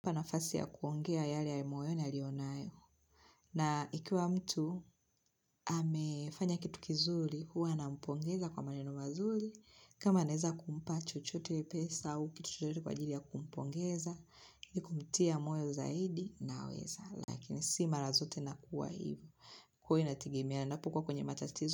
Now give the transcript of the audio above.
Mpa nafasi ya kuongea yale ya moyoni aliyo nayo. Na ikiwa mtu, hamefanya kitu kizuli, huwa na mpongeza kwa maneno mazuri. Kama aneza kumpa chochote pesa au kitu chochote kwa ajili ya kumpongeza, ni kumtia moyo zaidi na weza. Lakini si marazote na kuwa hivi. Huwa inategeana napo kuwa kwenye matatizo.